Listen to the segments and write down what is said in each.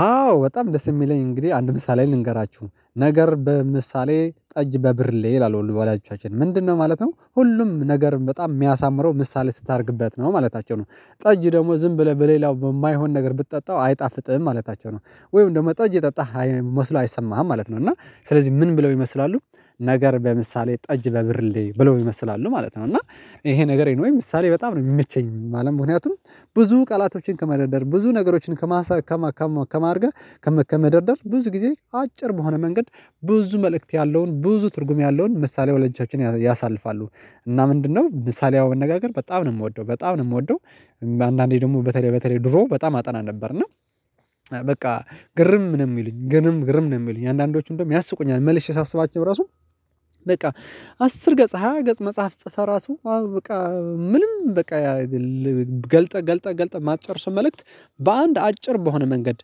አዎ በጣም ደስ የሚለኝ እንግዲህ አንድ ምሳሌ ልንገራችሁ ነው ነገር በምሳሌ ጠጅ በብር ላይ ይላሉ በኋላያችኋችን ምንድነው ማለት ነው? ሁሉም ነገር በጣም የሚያሳምረው ምሳሌ ስታደርግበት ነው ማለታቸው ነው። ጠጅ ደግሞ ዝም ብለህ በሌላው በማይሆን ነገር ብትጠጣው አይጣፍጥህም ማለታቸው ነው። ወይም እንደው ጠጅ የጠጣህ መስሎ አይሰማህም ማለት ነው። እና ስለዚህ ምን ብለው ይመስላሉ ነገር በምሳሌ ጠጅ በብርሌ ብሎ ይመስላሉ ማለት ነው። እና ይሄ ነገሬ ነው? ወይ ምሳሌ በጣም ነው የሚመቸኝ አለም ምክንያቱም ብዙ ቃላቶችን ከመደርደር ብዙ ነገሮችን ከማሳ ከማሳ ከማርገር ከመከመደርደር ብዙ ጊዜ አጭር በሆነ መንገድ ብዙ መልእክት ያለውን ብዙ ትርጉም ያለውን ምሳሌ ወለቻዎችን ያሳልፋሉ። እና ምንድነው ምሳሌው አነጋገር በጣም ነው የምወደው በጣም ነው የምወደው። አንዳንዴ ደግሞ በተለይ በተለይ ድሮ በጣም አጠና ነበር እና። ግርም ነው የሚሉኝ ግርም ነው የሚሉኝ አንዳንዶቹም ደግሞ ያስቁኛል መልሼ ሳስባቸው ራሱ። በቃ አስር ገጽ ሃያ ገጽ መጽሐፍ ጽፈህ ራሱ በቃ ምንም በቃ ገልጠህ ገልጠህ ገልጠህ ማትጨርሰው መልእክት። በአንድ አጭር በሆነ መንገድ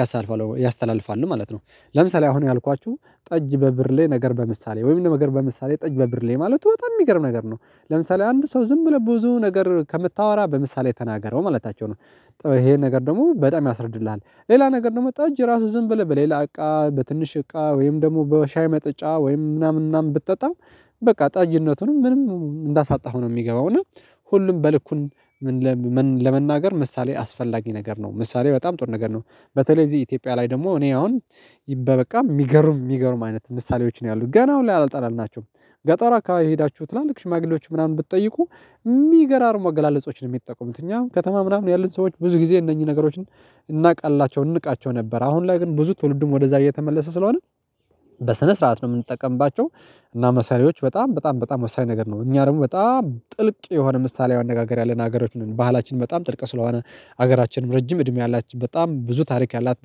ያሳልፋል ያስተላልፋል ማለት ነው። ለምሳሌ አሁን ያልኳችሁ ጠጅ በብር ላይ ነገር በምሳሌ ወይም ለመገር በምሳሌ ጠጅ በብር ላይ ማለት በጣም የሚገርም ነገር ነው። ለምሳሌ አንድ ሰው ዝም ብለህ ብዙ ነገር ከምታወራ በምሳሌ ተናገረው ማለታቸው ነው። ይሄን ነገር ደግሞ በጣም ያስረድልሃል ሌላ ነገር ደግሞ ጠጅ ራሱ ዝም ብለህ በሌላ እቃ በትንሽ እቃ ወይም ደግሞ በሻይ መጠጫ ወይም ምናምን ምናምን ብትጠጣም። በቃ ጣይነቱንም ምንም እንዳሳጣኸው ነው የሚገባው እና። ሁሉም በልኩን ለመናገር ምሳሌ አስፈላጊ ነገር ነው። ምሳሌ በጣም ጥር ነገር ነው። በተለይ እዚህ ኢትዮጵያ ላይ ደግሞ እኔ አሁን በበቃ የሚገርም የሚገርም አይነት ምሳሌዎች ነው ያሉት ገና አሁን ላይ አልጠላልናቸውም። ገጠራ አካባቢ ሄዳችሁ ላልክ ሽማግሌዎች ምናምን ብትጠይቁ። የሚገራር መገላለጾችን ነው የሚጠቁሙት እኛ ከተማ ምናምን ያሉን ሰዎች ብዙ ጊዜ እነኚህ ነገሮችን። እናውቃላቸው እንቃቸው ነበር አሁን ላይ ግን ብዙ ትውልድም ወደዛ እየተመለሰ ስለሆነ። በስነ ስርዓት ነው የምንጠቀምባቸው። እና መሳሪያዎች በጣም በጣም በጣም ወሳኝ ነገር ነው እኛ ደግሞ በጣም ጥልቅ የሆነ ምሳሌ አነጋገር ያለን ሀገሮች ባህላችን በጣም ጥልቅ ስለሆነ። ሀገራችን ረጅም እድሜ አላት በጣም ብዙ ታሪክ ያላት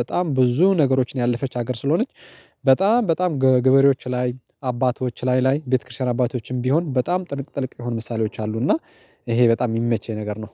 በጣም ብዙ ነገሮችን ያለፈች ሀገር ስለሆነች። በጣም በጣም ገበሬዎች ላይ አባቶች ላይ ላይ ቤተክርስቲያን አባቶችም ቢሆን በጣም ጥልቅ ጥልቅ የሆኑ ምሳሌዎች አሉ እና። ይሄ በጣም የሚመቸኝ ነገር ነው